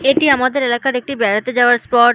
এটি আমাদের এলাকার একটি বেড়াতে যাওয়ার স্পট --